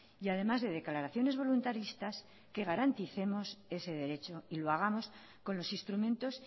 y además de declaraciones voluntaristas que garanticemos ese derecho y lo hagamos con los instrumentos